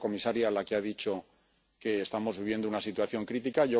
Ha sido la comisaria la que ha dicho que estamos viviendo una situación crítica.